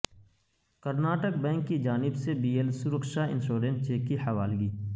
Karnataka bank کی جانب سے K B L Suraksha insurance cheque کی حوالگی